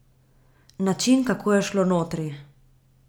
Način, kako je šlo notri ...